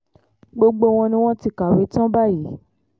gbogbo wọn ni wọ́n ti kàwé tán báyìí